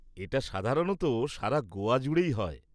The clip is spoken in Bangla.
এটা সাধারণত সারা গোয়া জুড়েই হয়।